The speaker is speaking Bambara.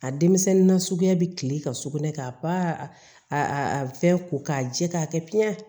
A denmisɛnnin na suguya bɛ kile ka sugunɛ kɛ a ba a a fɛn ko k'a jɛ k'a kɛ piɲɛ